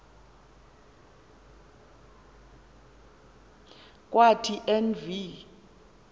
kwathi en v